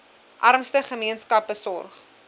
armste gemeenskappe sorg